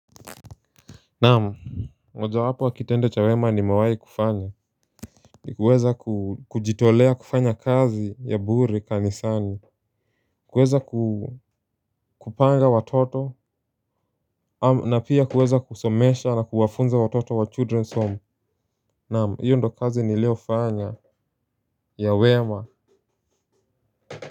Naam mojawapo wa kitendo cha wema nimawahi kufanya. Ni kuweza ku kujitolea kufanya kazi ya bure kanisani kuweza ku kupanga watoto. Na pia kuweza kusomesha na kuwafunza watoto wa children's home naam hiyo ndio kazi niliofanya ya wema.